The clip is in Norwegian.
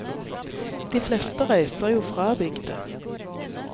De fleste reiser jo fra bygda.